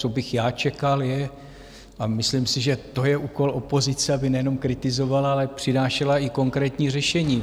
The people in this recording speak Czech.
Co bych já čekal, je - a myslím si, že to je úkol opozice - aby nejenom kritizovala, ale přinášela i konkrétní řešení.